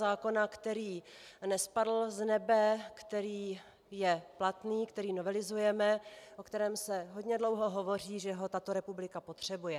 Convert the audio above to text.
Zákona, který nespadl z nebe, který je platný, který novelizujeme, o kterém se hodně dlouho hovoří, že ho tato republika potřebuje.